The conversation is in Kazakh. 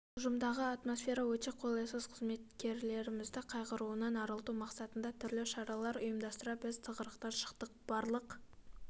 ұжымдағы атмосфера өте қолайсыз қызметкерлермізді қайғыруынан арылту мақсатында түрлі шаралар ұйымдастыра біз тығырықтан шықтық барлық